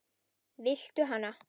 Viltu hana?